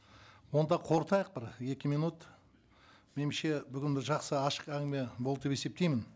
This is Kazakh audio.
онда қорытайық бір екі минут меніңше бүгін бір жақсы ашық әңгіме болды деп есептеймін